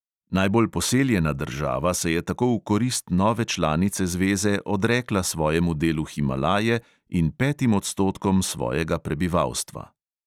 Najbolj poseljena država se je tako v korist nove članice zveze odrekla svojemu delu himalaje in petim odstotkom svojega prebivalstva.